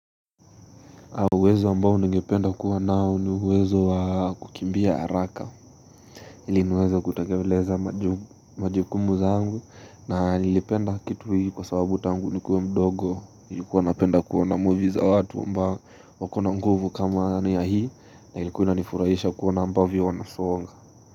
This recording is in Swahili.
Uwezo ambao ningependa kuwa nao ni uwezo wa kukimbia haraka ili niweze kutekeleza maju majukumu zangu na nilipenda kitu hii kwa sababu tangu nikuwe mdogo nilikuwa napenda kuona movies za watu ambao wako na nguvu kama ya hii na ilikuwa inanifurahisha kuona ambavyo wanasonga.